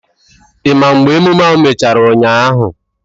Ị ma mgbe emume ahụ mechara ụnyaahụ?